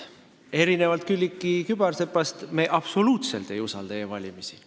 Erinevalt Külliki Kübarsepast me absoluutselt ei usalda e-valimisi.